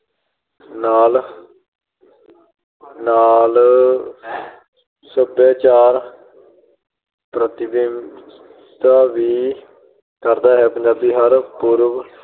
ਨਾਲ ਅਹ ਨਾਲ ਸੱਭਿਆਚਾਰ ਪ੍ਰਤੀਨਿਧਤਾ ਵੀ ਕਰਦਾ ਹੈ। ਪੰਜਾਬੀ ਹਰ ਪੁਰਬ